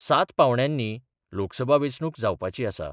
सात पांवड्यांनी लोकसभा वेंचणूक जावपाची आसा.